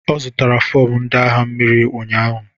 Ọ zụtara fọm ndị agha mmiri ụnyahụ.